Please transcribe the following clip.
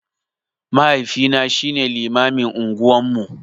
Mahaifina shine limamin unguwan mu.